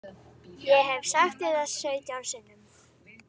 Ég hef sagt þér það sautján sinnum.